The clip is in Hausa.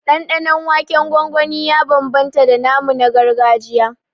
Ɗanɗanon waken gwangwani ya bambamta da namu na gargajiya